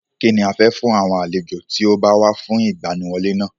Kínni a fẹ́ fún àwọn àlejò tí ó bá wá fún ìgbaniwọlé náà?